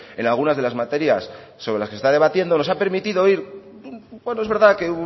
en algunas de las materias sobre las que se está debatiendo nos ha permitido ir bueno es verdad que